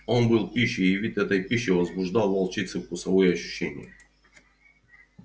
он был пищей и вид этой пищи возбуждал в волчице вкусовые ощущения